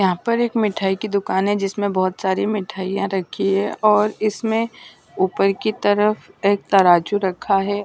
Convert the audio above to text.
यहाँ पर एक मिठाई की दुकान है जिसमें बहुत सारी मिठाइयां रखी हैं और इसमें ऊपर की तरफ एक तराजू रखा है।